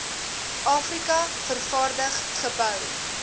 afrika vervaardig gebou